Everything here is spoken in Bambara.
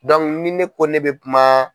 ni ne ko ne bɛ kuma.